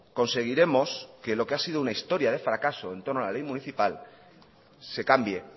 conseguiremos que lo que ha sido una historia de fracaso entorno a la ley municipal se cambie